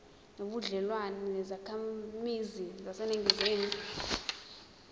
nobudlelwane nezakhamizi zaseningizimu